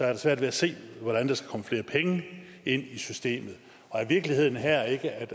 jeg svært ved at se hvordan der skal komme flere penge ind i systemet er virkeligheden her ikke at